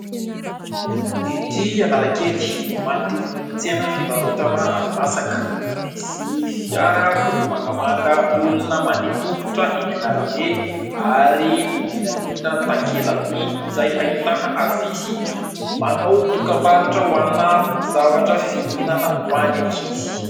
Ety Analakely, manodidina ny tsena fivarotana hani-masaka. Misy fiara miloko mangamanga, olona mandeha tongotra eny an'arabe ary indrindra indrindra takela-by izay ahitana afisy manao dokam-barotra ho ana zavatra fihinana ho an'ny ankizy.